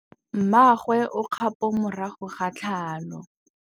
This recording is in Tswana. Mmagwe o kgapô morago ga tlhalô.